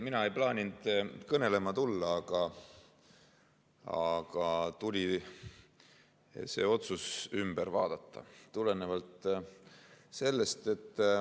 Mina ei plaaninud algul kõnelema tulla, aga siiski tuli mul see otsus ümber teha.